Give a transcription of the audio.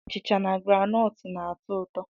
Achịcha na groundnut na-atọ ụtọ.